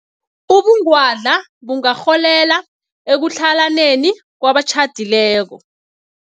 Ubungwadla bungarholela ekutlhalaneni kwabatjhadileko.